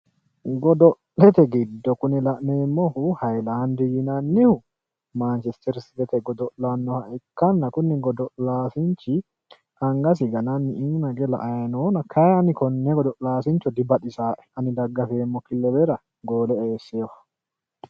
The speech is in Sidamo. Godo'lete giddo kuni la'neemmohu hiyilaandi yinannihu maanchisterisitete godo'lannoha ikkanna kuni godo'laansichi angasi gananni iima hige la''ayi noona. Kayi ani konne godi'laasincho dibaxisaae ani daggafeemmo kilebera goole eesseyoho.